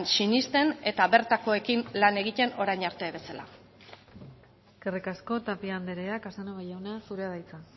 sinesten eta bertakoekin lan egiten orain arte bezala eskerrik asko tapia andrea casanova jauna zurea da hitza